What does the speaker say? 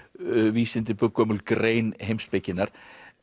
vísindi gömul grein heimspekinnar